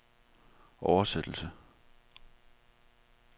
oversættelse